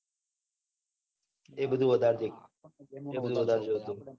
એ બધું વધારે જોતા વધારે જોતા આપડે. mobile